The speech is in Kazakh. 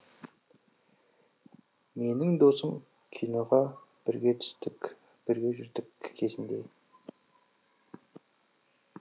менің досым киноға бірге түстік бірге жүрдік кезінде